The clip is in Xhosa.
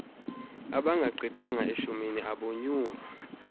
abangagqithanga eshumini abonyulwa